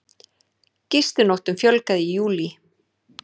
Gistinóttum fjölgaði í júlí